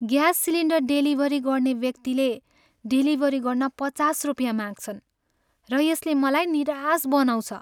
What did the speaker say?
Gas cylinder delivery गर्ने व्यक्तिले delivery गर्न पचास रुपियाँ माग्छन् र यसले मलाई निराश बनाउँछ।